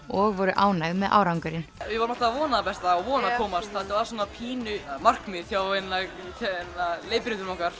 og voru ánægð með árangurinn við vorum alltaf að vona það besta og vona að komast þetta var pínu markmið hjá leiðbeinendum okkar